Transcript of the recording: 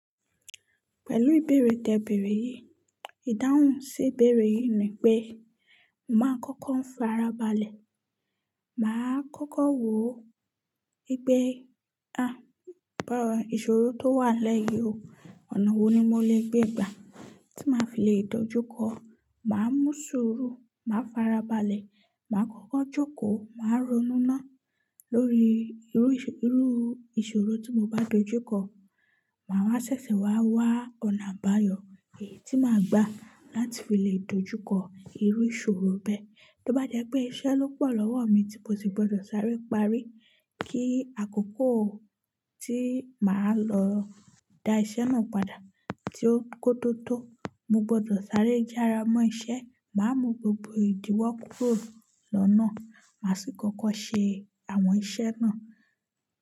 Pẹ̀lú ìbéèrè tẹ ìbéèrè yìí, ìdáhùn sí ìbéèrè yìí ni pé, mo màá kọ́kọ́ ń farabalẹ̀, màá kọ́kọ́ wò ó, ipe a, ìṣòro tó n wàlẹ yii o, ọ̀nà wo ni mo lè gbé gbà tí màá fi lè dojúkọ. Màá mú ṣuru, màá farabalẹ̀, màá kọ́kọ́ jókòó, màá ronú náá lórí irú ìṣòro tí mo bá dojúkọ. Màá wá ṣẹ̀ṣẹ̀ wá wá ọ̀nà àbáyọ̀ èyí tí màá gbà láti fi lè dojúkọ irú ìṣòro bẹ́ẹ̀. Bí ó bá jẹ́ pé iṣẹ́ ló pọ̀ lọ́wọ́ mi tí mo sì gbọdọ̀ sáré parí, kí àkókò tí màá lọ da iṣẹ́ náà padà ti o kó tó tó, mo gbọdọ̀ sáré yára mọ́ iṣẹ́, màá mú gbogbo ìdíwọ́ kúrò lọ́nà, màá sì kọ́kọ́ ṣe àwọn iṣẹ́ náà.